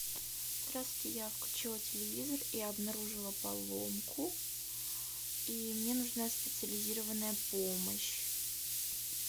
здравствуйте я включила телевизор и обнаружила поломку и мне нужна специализированная помощь